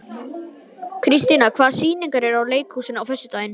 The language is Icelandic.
Kristíanna, hvaða sýningar eru í leikhúsinu á föstudaginn?